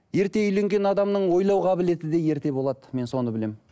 ерте үйленген адамның ойлау қабілеті де ерте болады мен соны білемін